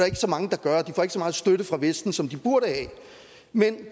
ikke så mange der gør og de får ikke så meget støtte fra vesten som de burde have men